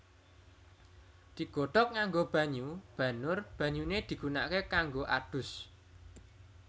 Digodhog nganggo banyu banur banyune digunakake kanggo adus